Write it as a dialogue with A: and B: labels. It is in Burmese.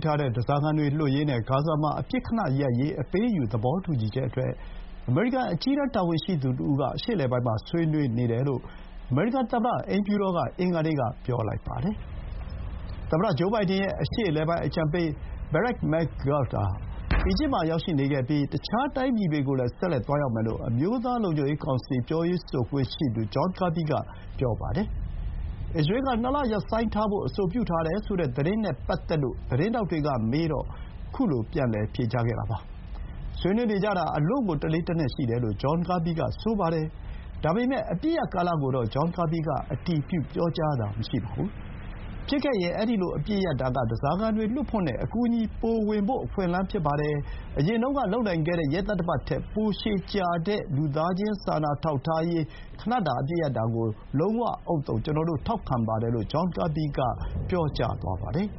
A: ထားတဲ့ ဓားစာခံတွေလွှတ်ရေးနဲ့ ဂါဇာမှာ ခဏအပစ်ရပ်ရေး အပေးအယူသဘောတူညီချက်အတွက် အမေရိကန် အကြီးတန်းတာဝန်ရှိသူတဦးက အရှေ့အလယ်ပိုင်းမှာ ဆွေးနွေးနေတယ်လို့ အမေရိကန် သမ္မတအိမ်ဖြူတော်က အင်္ဂါနေ့မှာ ပြောပါတယ်။ သမ္မတဂျိုးဘိုင်ဒန်ရဲ့ အရှေ့အလယ်ပိုင်းအကြံပေး ဘရက်ခ် မက်ဂတ်ဂ် (Brett McGurk) ဟာ အီဂျစ်မှာရောက်နေခဲ့ပြီး တခြားတိုင်းပြည်တွေကိုလည်း ဆက်လက်သွားရောက်မယ်လို့ အမျိုးသားလုံခြုံရေးကောင်စီ ပြောရေးဆိုခွင့်ရှိသူ ဂျွန်ကာဘီက ပြောပါတယ်။ အစ္စရေးက နှစ်လရပ်ဆိုင်းထားဖို့ အဆိုပြုထားတယ်ဆိုတဲ့ သတင်းနဲ့ပတ်သက်လို့ သတင်းထောက်တွေကမေးတော့ ခုလို ပြန်လည်ဖြေကြားခဲ့တာပါ။ ဆွေးနွေးနေကြတာ အလွန့်ကို တလေးတနက်ရှိတယ်လို့ ဂျွန်ကာဘီက ဆိုပါတယ်။ ဒါပေမဲ့ အပစ်ရပ်ကာလကိုတော့ ဂျွန်ကာဘီက အတည်ပြုပြောတာမရှိပါဘူး။ “ဖြစ်ခဲ့ရင်.. အဲဒီလို အပစ်ရပ်တာက ဓားစာခံတွေလွတ်ဖို့နဲ့ အကူအညီတွေ ပိုဝင်ဖို့ အခွင့်အလမ်းဖြစ်ပါတယ်။ အရင်တုန်းကလုပ်နိုင်ခဲ့တဲ့ ရက်သတ္တပတ်ထက် ပိုရှည်ကြာတဲ့ လူသားချင်း စာနာထောက်ထားရေးအတွက် ခဏတာ အပစ်ရပ်တာကို ကျနော်တို့ လုံးဝဥဿုံ ထောက်ခံပါတယ်" လို့ ဂျွန်ကာဘီက ပြောကြားသွားပါတယ်